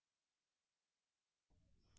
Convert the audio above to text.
मेरा fullname username और password सही हैं